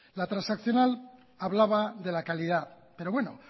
la transaccional hablaba de la calidad pero bueno